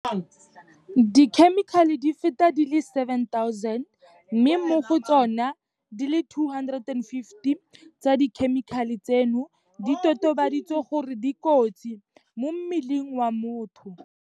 dikhemikhale di feta di le 7 000 mme mo go tsona, di le 250 tsa dikhemikhale tseno di totobaditswe gore di kotsi mo mmeleng wa motho.